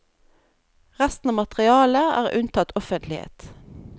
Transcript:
Resten av materialet er unntatt offentlighet.